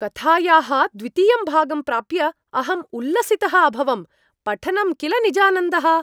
कथायाः द्वितीयं भागं प्राप्य अहं उल्लसितः अभवम्। पठनं किल निजानन्दः।